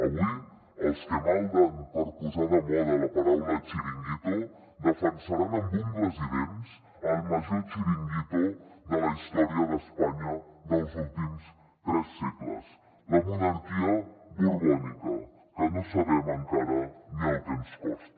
avui els que malden per posar de moda la paraula chiringuito defensaran amb ungles i dents el major chiringuito de la història d’espanya dels últims tres segles la monarquia borbònica que no sabem encara ni el que ens costa